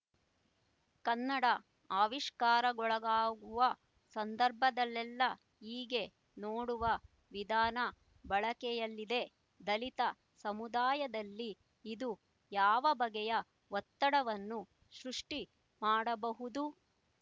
ಕನ್ನಡ ಆವಿಷ್ಕಾರಗೊಳಗಾಗುವ ಸಂದರ್ಭದಲ್ಲೆಲ್ಲ ಹೀಗೆ ನೋಡುವ ವಿಧಾನ ಬಳಕೆಯಲ್ಲಿದೆ ದಲಿತ ಸಮುದಾಯದಲ್ಲಿ ಇದು ಯಾವ ಬಗೆಯ ಒತ್ತಡವನ್ನು ಸೃಷ್ಟಿ ಮಾಡಬಹುದು